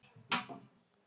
Út kemur lítið lauf.